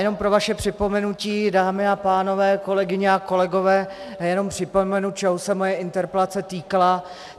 Jenom pro vaše připomenutí, dámy a pánové, kolegyně a kolegové, jenom připomenu, čeho se moje interpelace týkala.